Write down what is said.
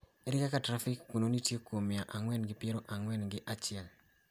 Ere kaka trafik kuno nitie kuom mia ang�wen gi piero ang�wen gi achiel?